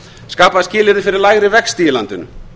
skapa skilyrði fyrir lægri vexti í landinu